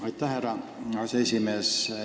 Aitäh, härra aseesimees!